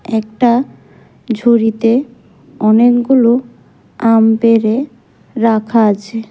একটা ঝুড়িতে অনেকগুলো আম পেড়ে রাখা আছে।